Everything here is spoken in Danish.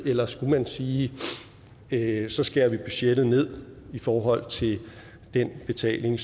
eller skulle man sige at så skærer vi budgettet ned i forhold til den betaling